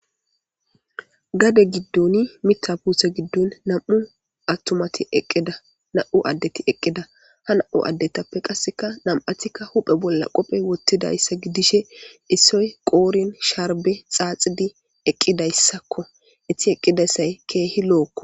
Gade giddoni mita puse giddon nam'u attumati eqida nam'u addeti eqqida ha na'u addetappe qasseka nam'atika huphe bolla qophe wottidayssa gidishe issoy qoorin sharbe xaaxidi eqqidayssakko itti eqqidassay keehi lo'okko.